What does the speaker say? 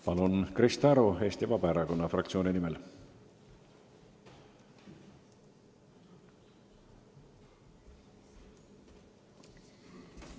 Palun, Krista Aru Eesti Vabaerakonna fraktsiooni nimel!